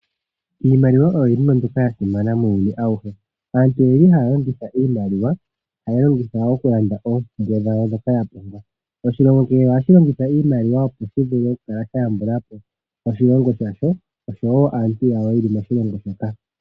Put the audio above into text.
Iimaliwa oyo iinima mbyoka yasimana muuyuni awuhe. Aantu oyeli haya longitha iimaliwa, haya longitya okulanda oompumbwe dhawo dhoka yapumbwa. Oshilongo kehe ohashi longitha iimaliwa opo shivule okukala shayambula po oshilongo shasho osho wo aantu yawo yeli moshilongo shoka.